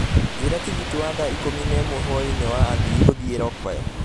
njigĩra tigiti wa thaa ikũmi na imwe hwaĩinĩ wa athiĩ gũthiĩ rockville